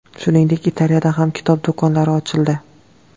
Shuningdek, Italiyada ham kitob do‘konlari ochildi .